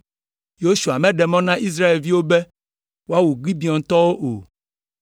Yosua meɖe mɔ na Israelviwo be woawu Gibeontɔwo o,